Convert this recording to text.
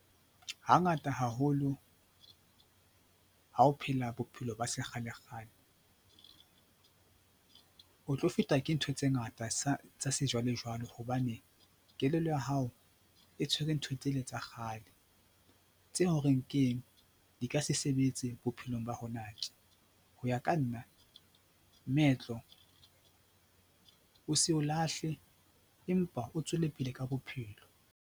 Hangata haholo ha o phela bophelo ba sekgalekgale o tlo fetwa ke ntho tse ngata tsa sejwalejwale hobane kelello ya hao e tshwere ntho tsele tsa kgale tse horeng keng di ka se sebetse bophelong ba hona tje. Ho ya ka nna moetlo o se o lahle empa o tswellepele ka bophelo.